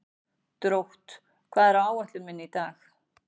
Drótt, hvað er á áætluninni minni í dag?